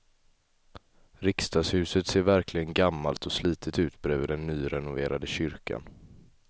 Riksdagshuset ser verkligen gammalt och slitet ut bredvid den nyrenoverade kyrkan.